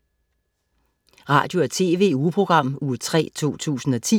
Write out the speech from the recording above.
Radio- og TV-ugeprogram Uge 3, 2010